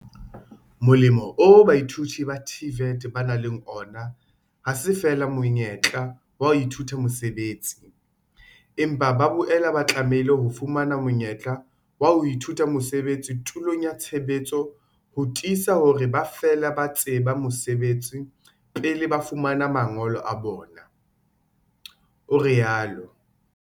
Molemo oo baithuti ba TVET ba nang le ona ha se feela monyetla wa ho ithuta mosebetsi, empa ba boela ba tlamehile ho fumana monyetla wa ho ithuta mosebetsi tulong ya tshebetso ho tiisa hore ba fela ba tseba mosebetsi pele ba fumana mangolo a bona, o rialo.